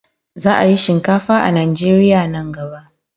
Za a yi shinkafa a Najeriya nan gaba.